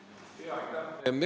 Aitäh!